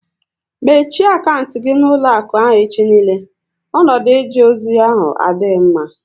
Mechie akantị gị na ụlọakụ ahụ echi niile! Ọnọdụ eje ozi ahụ adịghị mma